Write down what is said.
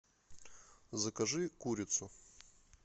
закажи курицу